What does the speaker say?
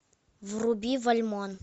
вруби вальмон